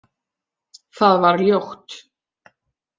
Það var ljótt.